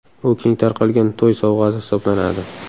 U keng tarqalgan to‘y sovg‘asi hisoblanadi.